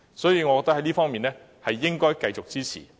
所以，我覺得這方面應該繼續支持。